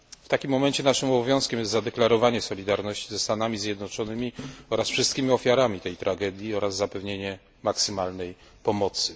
W takim momencie naszym obowiązkiem jest zadeklarowanie solidarności ze Stanami Zjednoczonymi i wszystkimi ofiarami tej tragedii oraz zapewnienie maksymalnej pomocy.